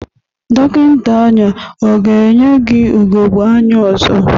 Dọkịnta anya ọ ga-enye gi ugogbe anya ọzọ?